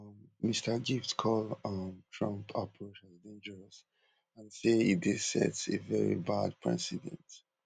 um mr gift call um trump approach as dangerous and say e dey sets a veri bad precedent